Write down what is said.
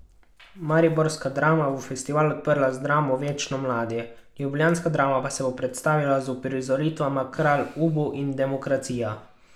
Mariborska Drama bo festival odprla z dramo Večno mladi, ljubljanska Drama pa se bo predstavila z uprizoritvama Kralj Ubu in Demokracija!